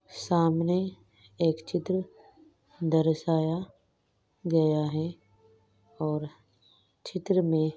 सामने एक चित्र दर्शाया गया है और चित्र मे--